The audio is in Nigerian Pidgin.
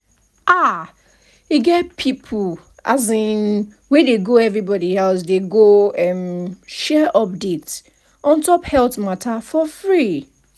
ah e get people as in wey dey go everybody house dey go um share update on top health matter for free.